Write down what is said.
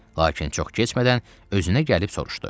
Lakin çox keçmədən özünə gəlib soruşdu.